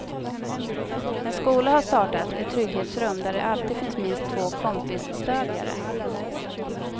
En skola har startat ett trygghetsrum där det alltid finns minst två kompisstödjare.